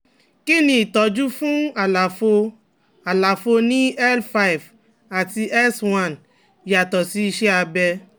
Kí ni ìtọ́jú fún àlàfo àlàfo ní L five àti S one yàtọ̀ sí iṣẹ́ abẹ?